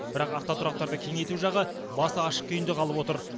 бірақ автотұрақтарды кеңейту жағы басы ашық күйінде қалып отыр